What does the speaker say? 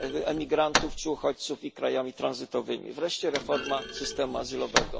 imigrantów czy uchodźców i krajami tranzytowymi, wreszcie reforma systemu azylowego.